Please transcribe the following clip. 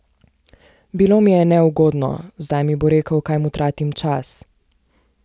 Bilo mi je neugodno, zdaj mi bo rekel, kaj mu tratim čas.